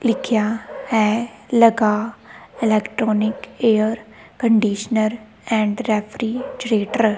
ਲਿਖਿਆ ਹੈ ਲਗਾ electronic air conditioner and refrigerator.